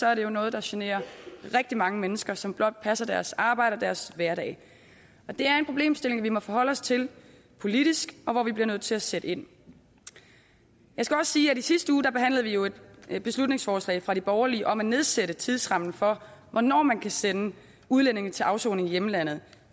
er det jo noget der generer rigtig mange mennesker som blot passer deres arbejde og deres hverdag det er en problemstilling vi må forholde os til politisk og hvor vi bliver nødt til at sætte ind jeg skal også sige at i sidste uge behandlede vi jo et beslutningsforslag fra de borgerlige om at nedsætte tidsrammen for hvornår man kan sende udlændinge til afsoning i hjemlandet